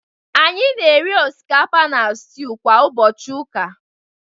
anyị na-eri osikapa na stew kwa ụbọchị ụka